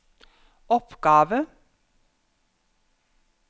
oppgave